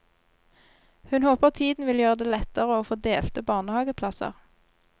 Hun håper tiden vil gjøre det lettere å få delte barnehageplasser.